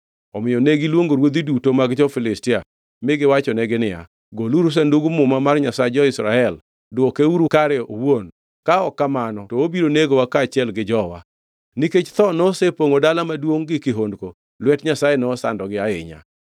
Omiyo negiluongo ruodhi duto mag jo-Filistia mi giwachonegi niya, “Goluru Sandug Muma mar Nyasach jo-Israel; dwokeuru kare owuon, ka ok kamano to obiro negowa kaachiel gi jowa.” Nikech tho nosepongʼo dala maduongʼ gi kihondko; lwet Nyasaye nosandogi ahinya.